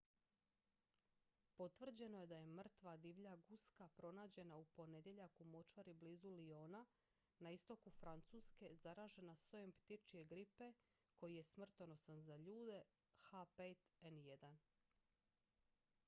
potvrđeno je da je mrtva divlja guska pronađena u ponedjeljak u močvari blizu lyona na istoku francuske zaražena sojem ptičje gripe koji je smrtonosan za ljude h5n1